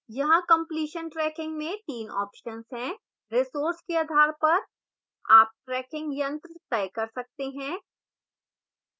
यहाँ completion tracking में 3 options हैं